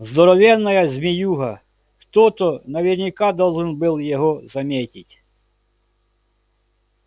здоровенная змеюга кто-то наверняка должен был его заметить